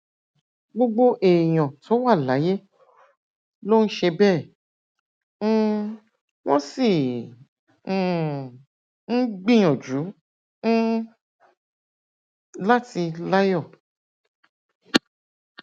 gbogbo èèyàn tó wà láyé ló ń ṣe bẹẹ um wọn sì um ń gbìyànjú um láti láyọ